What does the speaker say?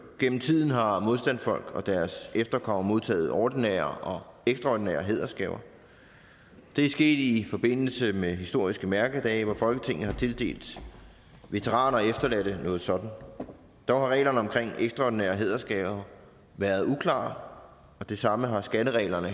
gennem tiden har modstandsfolk og deres efterkommere modtaget ordinære og ekstraordinære hædersgaver det er sket i forbindelse med historiske mærkedage hvor folketinget har tildelt veteraner og efterladte noget sådant der har reglerne omkring ekstraordinære hædersgaver været uklare og det samme har skattereglerne